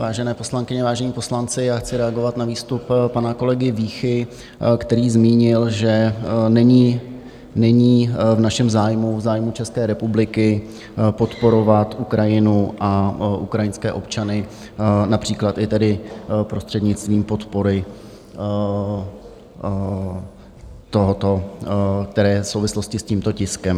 Vážené poslankyně, vážení poslanci, já chci reagovat na výstup pana kolegy Vícha, který zmínil, že není v našem zájmu, v zájmu České republiky, podporovat Ukrajinu a ukrajinské občany, například i tedy prostřednictvím podpory tohoto, které je v souvislosti s tímto tiskem.